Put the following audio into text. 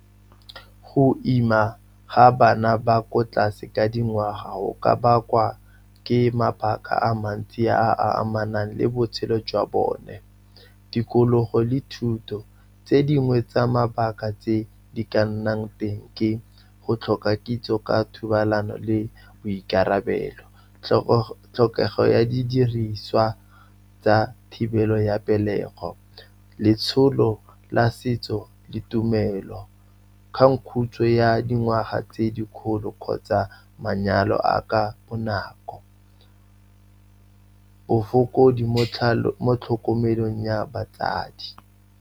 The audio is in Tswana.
Go ima ga bana ba ko tlase ka dingwaga go ka bakwa ke mabaka a mantsi a a amanang le botshelo jwa bone, tikologo le thuto. Tse dingwe tsa mabaka tse di ka nnang teng ke go tlhoka kitso ka thobalano le boikarabelo, tlhokego ya didiriswa tsa thibelo ya pelego, letsholo la setso le tumelo, kgangkhutswe ya dingwaga tse dikgolo kgotsa manyalo a ka bonako, bofokodi mo tlhokomelong ya batsadi.